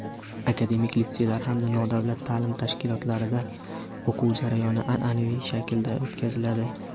akademik litseylar hamda nodavlat taʼlim tashkilotlarida o‘quv jarayoni anʼanaviy shaklga o‘tkaziladi.